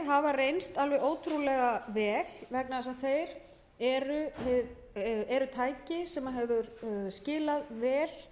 hafa reynst alveg ótrúlega vel vegna þess að eins og segir eru tæki sem hafa skilað vel